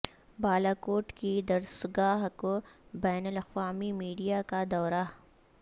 بالاکوٹ کی درسگاہ کو بین الاقوامی میڈیا کا دورہ